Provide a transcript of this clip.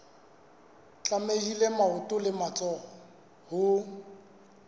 tlamehile maoto le matsoho ho